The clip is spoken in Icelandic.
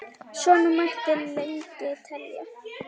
Svona mætti lengi telja.